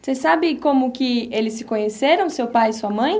Você sabe como que eles se conheceram, seu pai e sua mãe?